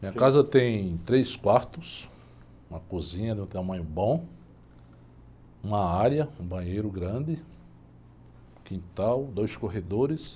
Minha casa tem três quartos, uma cozinha de um tamanho bom, uma área, um banheiro grande, quintal, dois corredores.